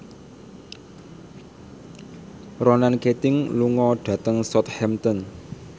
Ronan Keating lunga dhateng Southampton